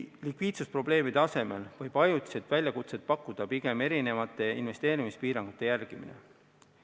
Likviidsusprobleemide asemel võib ajutiselt väljakutset pakkuda pigem erinevate investeerimispiirangute järgimine.